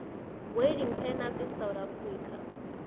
wedding planners in south africa